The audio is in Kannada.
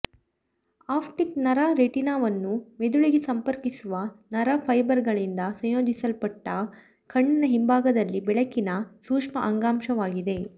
ಆಪ್ಟಿಕ್ ನರ ರೆಟಿನಾವನ್ನು ಮೆದುಳಿಗೆ ಸಂಪರ್ಕಿಸುವ ನರ ಫೈಬರ್ಗಳಿಂದ ಸಂಯೋಜಿಸಲ್ಪಟ್ಟ ಕಣ್ಣಿನ ಹಿಂಭಾಗದಲ್ಲಿ ಬೆಳಕಿನ ಸೂಕ್ಷ್ಮ ಅಂಗಾಂಶವಾಗಿದೆ